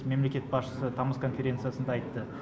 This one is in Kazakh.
мемлекет басшысы тамыз конференциясында айтты